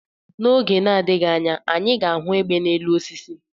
N'oge adịghị anya anyị ga ahụ egbe na-elu osisi